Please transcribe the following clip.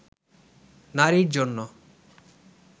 নারীর জন্য